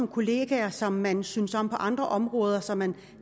kollegaer som man synes om på andre områder som man